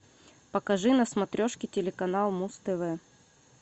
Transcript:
покажи на смотрешке телеканал муз тв